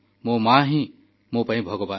ମୋ ମା ହିଁ ମୋ ପାଇଁ ଭଗବାନ